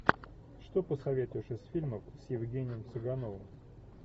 что посоветуешь из фильмов с евгением цыгановым